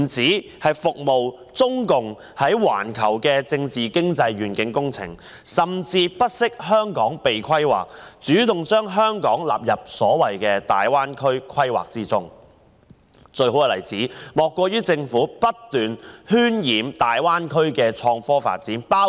這不止是為中共在環球政治經濟的願景工程服務，甚至不惜香港被規劃也要主動將香港納入大灣區規劃，而最好的例子，莫過於政府不斷渲染大灣區的創科發展。